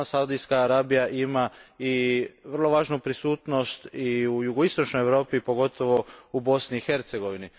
Saudijska Arabija ima vrlo važnu prisutnost i u jugoistočnoj Europi, pogotovo u Bosni i Hercegovini.